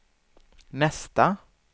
nästa